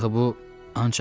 Axı bu ancaq Əli idi.